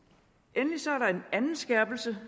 endelig står der en anden skærpelse